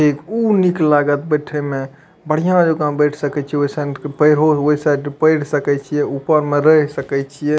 इ ऊ निक लागत बैठे में बढ़िया जका बैठ सके छी ओय साइड पेढ़ सके छिये ऊपर में रह सके छिये।